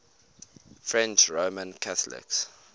french roman catholics